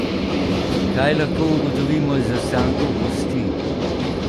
Kaj lahko ugotovimo iz ostankov kosti?